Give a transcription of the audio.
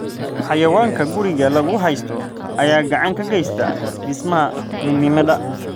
Xayawaanka guriga lagu haysto ayaa gacan ka geysta dhismaha midnimada.